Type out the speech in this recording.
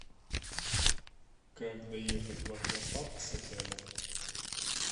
как доехать в аквапарк с отеля